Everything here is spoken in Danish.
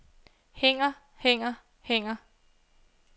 hænger hænger hænger